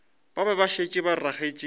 be ba šetše ba ragetše